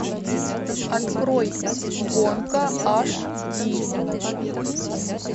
открой гонка аш ди